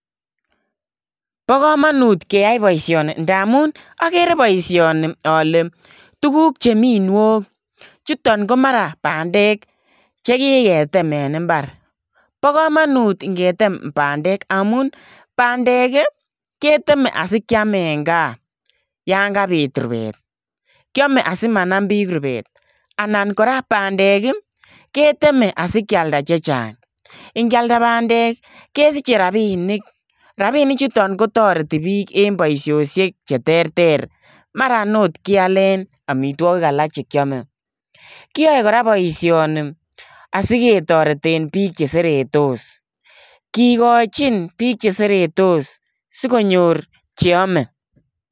Bo kamanut ngeyai boisioni ndamuun agere boisioni ale tuguuk che Mii nyook chutoon ko mara pandeek che kiketem en mbar bo kamanut ingetem pandeek, pandeek ii keteme asikyaam en gaah yaan kabiit rupeet anan anan pandeek ii keteme asikyaldaa che chaang pandeek ii kesichei rapinik ,rapinik chutoon kotaretii biik en boisiosiek koot kyaleen amitwagiik alaak che kyame kiayae kora boisioni asiketareteen biik che seretos kigochiin biik che seretos sikonyoor cheame.